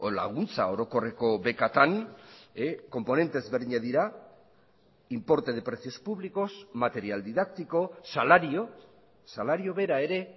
laguntza orokorreko bekatan konponente ezberdinak dira importe de precios públicos material didáctico salario salario bera ere